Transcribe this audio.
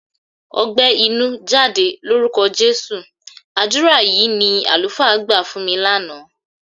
"Ọgbẹ́ inú, jáde lórúkọ Jésù!" Àdúrà yìí ni àlùfáà gbà fún mi lánàá.